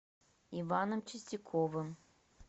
иваном чистяковым